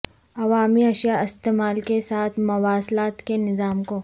عوامی اشیاء استعمال کے ساتھ مواصلات کے نظام کو